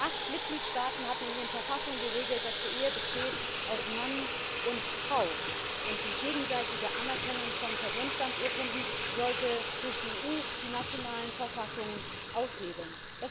Acht Mitgliedstaaten hatten in ihren Verfassungen geregelt, dass die Ehe aus Mann und Frau besteht. Die gegenseitige Anerkennung von Personenstandsurkunden sollte durch die EU die nationalen Verfassungen aushebeln.